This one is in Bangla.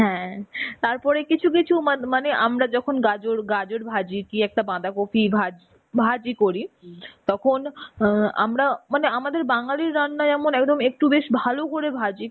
হ্যাঁ, তারপরে কিছু কিছু মা~ মানে আমরা যখন গাজর গাজর ভাজি, কি একটা বাঁধাকপি ভা~ভাজি করি তখন আমরা আ মানে আমাদের বাঙালি রান্না এমন একটু বেশ ভালো করে ভাজি